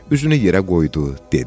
Üzünü yerə qoydu, dedi.